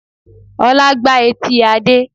Ọlá gbá etí Adé